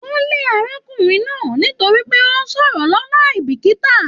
Wọn lè arákùnrin náà nítorí pé o n sọ̀rọ̀ lọnà aibikita.